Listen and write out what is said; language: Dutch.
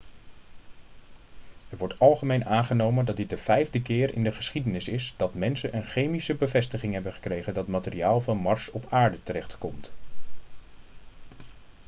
er wordt algemeen aangenomen dat dit de vijfde keer in de geschiedenis is dat mensen een chemische bevestiging hebben gekregen dat materiaal van mars op aarde terechtkomt